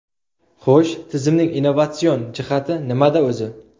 Xo‘sh, tizimning innovatsion jihati nimada o‘zi?